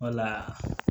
Wala